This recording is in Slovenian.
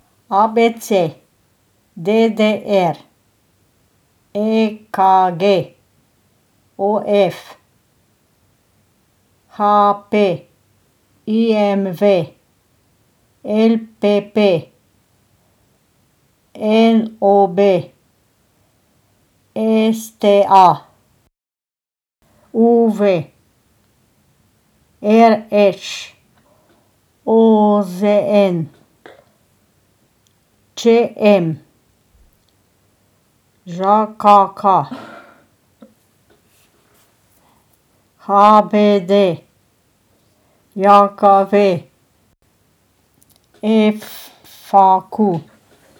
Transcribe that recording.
A B C; D D R; E K G; O F; H P; I M V; L P P; N O B; S T A; U V; R Š; O Z N; Č M; Ž K K; H B D J K V; F A Q.